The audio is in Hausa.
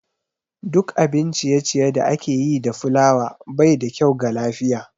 Duk abin ciye-ciye da ake yi da fulawa baida kyau ga lafiya